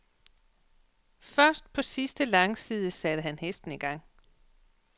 Først på sidste langside satte han hesten i gang.